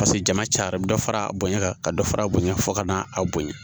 Paseke jama cayara a bɛ dɔ fara a bonɲa kan ka dɔ fara bonya fo ka n'a bonya